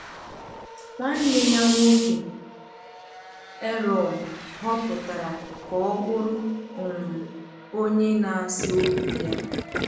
Nwanne ya nwoke Aaron họpụtara ka ọ bụrụ um onye na-asị okwu ya.